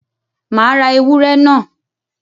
Màá ra ewúrẹ́ náà.